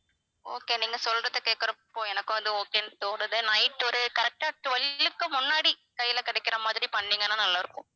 okay நீங்க சொல்றத கேட்கிறப்போ எனக்கும் வந்து okay ன்னு தோணுது night ஒரு correct ஆ twelve க்கு முன்னாடி கையில கிடைக்கிற மாதிரி பண்ணீங்கன்னா நல்லா இருக்கும்